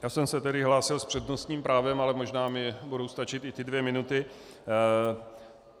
Já jsem se tedy hlásil s přednostním právem, ale možná mi budou stačit i ty dvě minuty.